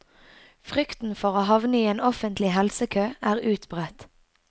Frykten for å havne i en offentlig helsekø er utbredt.